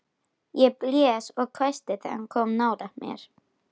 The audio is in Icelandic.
Ég blés og hvæsti þegar hann kom nálægt mér.